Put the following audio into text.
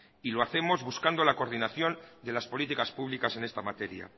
y lo hacemos buscando la coordinación de las políticas públicas en esta materia